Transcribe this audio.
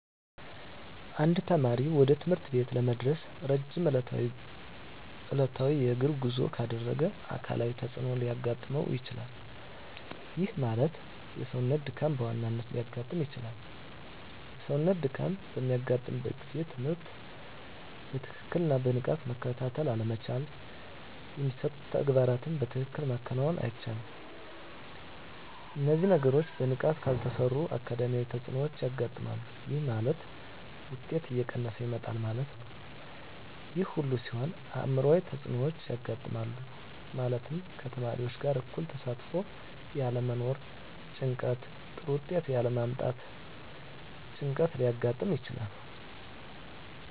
አንድ ተማሪ ወደ ትምህርት ቤት ለመድረስ ረጅም ዕለታዊ የእግር ጉዞ ካደረገ አካላዊ ተፅዕኖ ሊያጋጥመው ይችላል። ይህ ማለት የሰውነት ድካም በዋናነት ሊያጋጥም ይችላል። የሰውነት ድካም በሚያጋጥምበት ጊዜ ትምህርትን በትክክልና በንቃት መከታተል አለመቻል የሚሰጡ ተግባራትን በትክክል ማከናወን አይቻልም። እነዚህ ነገሮች በንቃት ካልተሰሩ አካዳሚያዊ ተፅዕኖዎች ያጋጥማል። ይህ ማለት ውጤት እየቀነሰ ይመጣል ማለት ነው። ይህ ሁሉ ሲሆን አዕምሯዊ ተፅዕኖዎች ያጋጥማሉ። ማለትም ከተማሪዎች ጋር እኩል ተሳትፎ ያለመኖር ጭንቀት ጥሩ ውጤት ያለ ማምጣት ጭንቀት ሊያጋጥም ይችላል።